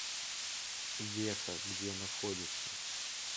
веха где находится